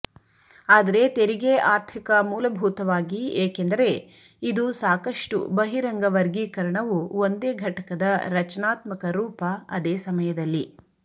ಆದರೆ ತೆರಿಗೆ ಆರ್ಥಿಕ ಮೂಲಭೂತವಾಗಿ ಏಕೆಂದರೆ ಇದು ಸಾಕಷ್ಟು ಬಹಿರಂಗ ವರ್ಗೀಕರಣವು ಒಂದೇ ಘಟಕದ ರಚನಾತ್ಮಕ ರೂಪ ಅದೇ ಸಮಯದಲ್ಲಿ